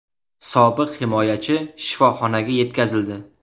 Sobiq himoyachi shifoxonaga yetkazildi.